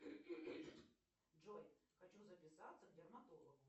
джой хочу записаться к дерматологу